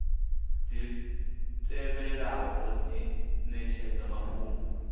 dzi tevhelaho dzi netshedza mafhungo